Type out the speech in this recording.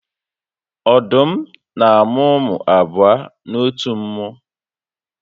Ọdụm n'amụ ụmụ abụọ n'otu mmụ